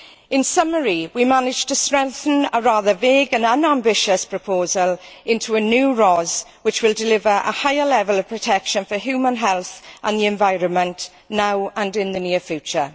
In summary, we managed to strengthen a rather vague and unambitious proposal into a new RoHS which will deliver a higher level of protection for human health and the environment now and in the near future.